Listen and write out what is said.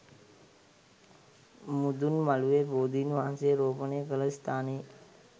මුදුන් මළුවේ බෝධින් වහන්සේ රෝපණය කළ ස්ථානයේ